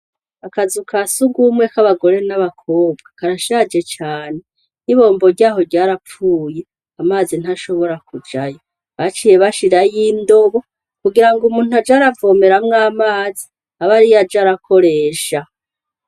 Akazu ka sugumwe k'abagore n'abakobwa karashaje cane n'ibombo ryaho ryarapfuye amazi ntashobora kujayo baciye bashirayo indobo kugira ngo umuntu ajaravomeramwo amazi abe ari yo aja arakoresha.